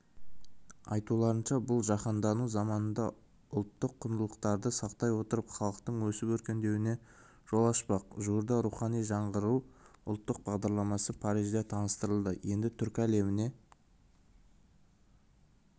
айтуларынша бұл-жаһандану заманында ұлттық құндылықтарды сақтай отырып халықтың өсіп-өркендеуіне жол ашпақ жуырда рухани жаңғыру ұлттық бағдарламасы парижде таныстырылды енді түркі әлеміне